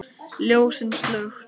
Ljósin slökkt.